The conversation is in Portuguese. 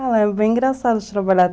É bem engraçado trabalhar.